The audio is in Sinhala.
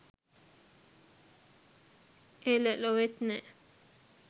එල! ලොවෙත් නෑ